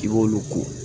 I b'olu ko